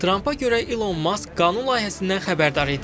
Trampa görə İlon Mask qanun layihəsindən xəbərdar idi.